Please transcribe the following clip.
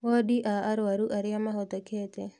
Wondi a arũarũ arĩa mahotekete